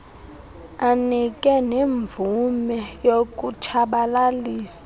anike nemvume yokutshabalalisa